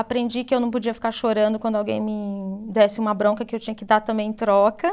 Aprendi que eu não podia ficar chorando quando alguém me desse uma bronca que eu tinha que dar também em troca.